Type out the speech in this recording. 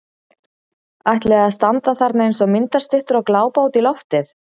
Ætliði að standa þarna eins og myndastyttur og glápa út í loftið!